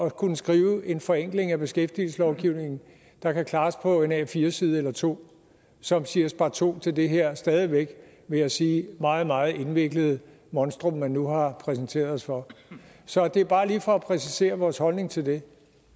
at kunne skrive en forenkling af beskæftigelseslovgivningen der kan klares på en a4 side eller to som siger sparto til det her stadig væk vil jeg sige meget meget indviklede monstrum man nu har præsenteret os for så det er bare lige for at præcisere vores holdning til det